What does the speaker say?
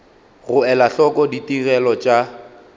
go ela hloko ditigelo tša